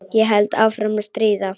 Ég held áfram að stríða.